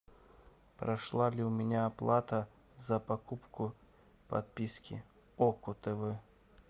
прошла ли у меня оплата за покупку подписки око тв